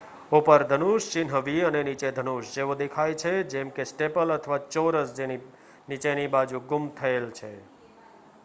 """ઉપર ધનુષ" ચિહ્ન v અને "નીચે ધનુષ" જેવા દેખાય છે જેમ કે સ્ટેપલ અથવા ચોરસ જેની નીચેની બાજુ ગુમ થયેલ છે.